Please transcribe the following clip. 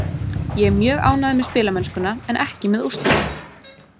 Ég er mjög ánægður með spilamennskuna en ekki með úrslitin.